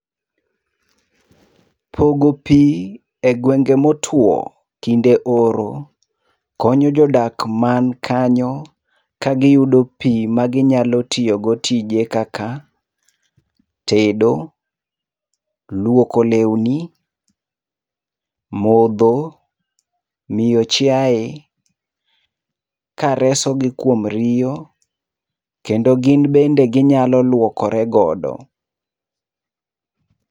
Pogo pi egwenge motwo kinde oro, konyo jodak man kanyo, kagiyudo pi maginyalo tiyogo tije kaka, tedo, luoko lewni, modho, miyo chiaye, karesogi kuom riyo, kendo gin bende ginyalo luokore godo.